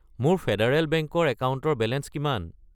মোৰ Federal Bank ৰ একাউণ্টৰ বেলেঞ্চ কিমান?